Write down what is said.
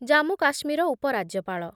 ଜାମ୍ମୁ କାଶ୍ମୀର ଉପରାଜ୍ୟପାଳ